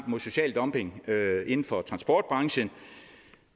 mod social dumping inden for transportbranchen